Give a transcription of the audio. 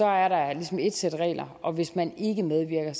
er der ligesom et sæt regler og hvis man ikke medvirker er